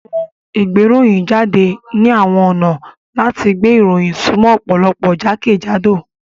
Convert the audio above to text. Àwọn òun ìgbéròyìnjáde ni àwọn ọ̀nà láti gbé ìròyìn sumo ọ̀pọ̀lọpọ̀ jákèjádò